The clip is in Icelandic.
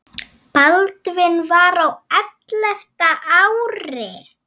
Baldvin var á ellefta ári.